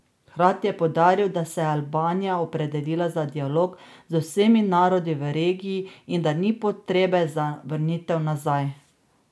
Hkrati je poudaril, da se je Albanija opredelila za dialog z vsemi narodi v regiji in da ni potrebe za vrnitev nazaj.